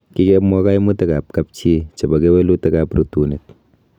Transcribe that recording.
Kikemwa koimutikab kapchi chebo kewelutietab rutunet.